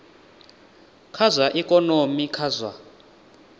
kha zwa ikonomi kha zwa